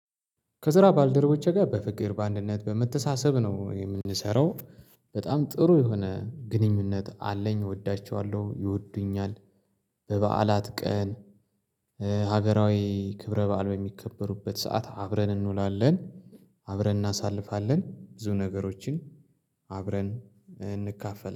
ከስራ ባልደረቦቼ ጋር በፍቅር በአንድነት በመተሳሰብ ነው የምንሰራው በጣም ጥሩ የሆነ ግንኙነት አለኝ እወዳቸዋለሁ ይወዱኛል። በበዓላት ቀን። ሀገራዊ ክብረ በዓል በሚከበሩበት ሰዓት አብረን እንውላለን። አብረን እናሳልፋለን ብዙ ነገሮችን። አብረን እንካፈላለን